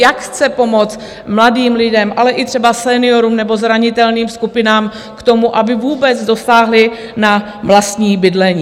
Jak chce pomoct mladým lidem, ale i třeba seniorům nebo zranitelným skupinám, k tomu, aby vůbec dosáhli na vlastní bydlení?